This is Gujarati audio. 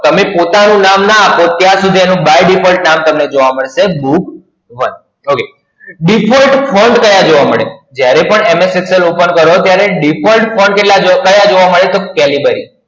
તમે પોતાનું નામ ના આપો ત્યાં સુધી એનું By Defaut નામ તમને જોવા મળશે. Book Okay એક. Default Font ક્યા જોવા મળે? જ્યારે પણ MS Excel ઓપન કરો ત્યારે Default Font કેટલા ક્યા જોવા મળે છે? Calibri